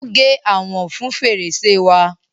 Ó gé àwòn fun fèrèsè wa.